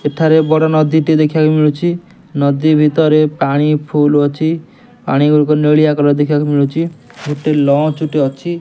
ସେଠାରେ ବଡ଼ ନଦୀ ଟେ ଦେଖିବାକୁ ମିଳୁଛି ନଦୀ ଭିତରେ ପାଣି ଫୁଲ ଅଛି ପାଣି ଗୁଡ଼ିକ ନେଳିଆ କଲର୍ ଦେଖିବାକୁ ମିଳୁଛି ଗୋଟିଏ ଲଞ୍ଚ ଟେ ଅଛି।